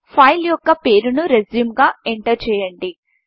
file యొక్క పేరును Resumeరెజ్యూంగా ఎంటర్ చేయండి